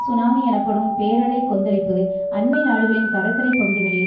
tsunami எனப்படும் பேரலைக் கொந்தளிப்பு அண்மை நாடுகளின் கடற்கரை பகுதிகளில்